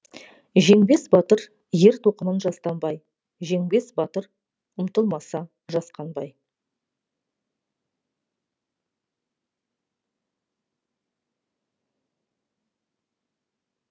жеңбес батыр ер тоқымын жастанбай жеңбес батыр ұмтылмаса жасқанбай